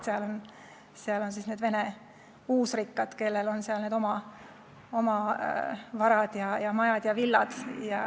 Seal on Vene uusrikkad, kellel on varad, majad ja villad.